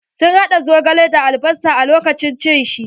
Sun haɗa zogale da albasa lokacin cin shi.